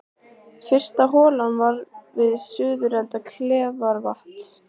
Fyrsta holan var við suðurenda Kleifarvatns.